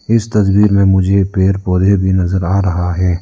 इस तस्वीर में मुझे पेड़ पौधे भी नजर आ रहा है।